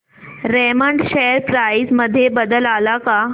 Raymond share price मध्ये बदल आलाय का